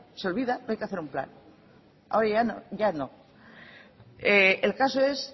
se olvida no hay que hacer un plan ahora ya no el caso es